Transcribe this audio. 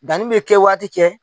Danni bɛ kɛ waati cɛ.